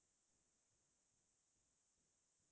লগতে মই অসমীয়া চিনেমা চাও